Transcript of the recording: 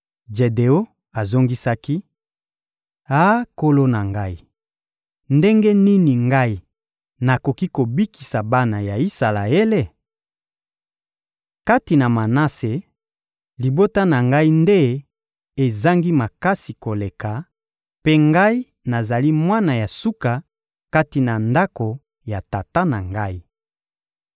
Jedeon azongisaki: — Ah nkolo na ngai, ndenge nini ngai nakoki kobikisa bana ya Isalaele? Kati na Manase, libota na ngai nde ezangi makasi koleka, mpe ngai nazali mwana ya suka kati na ndako ya tata na ngai.